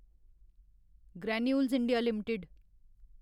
granules India limited